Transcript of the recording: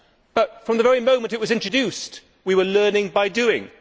But, from the very moment it was introduced, we were learning by doing'.